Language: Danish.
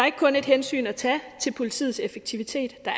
ikke kun et hensyn at tage til politiets effektivitet der